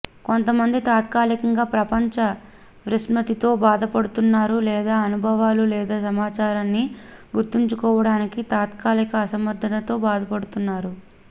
కొంతమంది తాత్కాలికంగా ప్రపంచ విస్మృతితో బాధపడుతున్నారు లేదా అనుభవాలు లేదా సమాచారాన్ని గుర్తుంచుకోవడానికి తాత్కాలిక అసమర్థతతో బాధపడుతున్నారు